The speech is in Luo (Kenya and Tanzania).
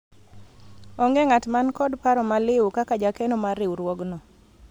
onge ng'at man kod paro maliwu kaka jakeno mar riwruogno